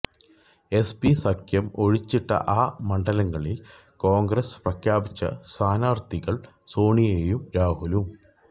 SP സഖ്യം ഒഴിച്ചിട്ട ആ മണ്ഡലങ്ങളില് കോണ്ഗ്രസ് പ്രഖ്യാപിച്ച സ്ഥാനാര്ത്ഥികള് സോണിയയും രാഹുലും